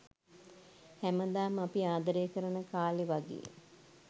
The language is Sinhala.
හැමදාම අපි ආදරය කරන කාලේ වගේ